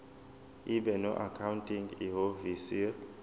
ibe noaccounting ihhovisir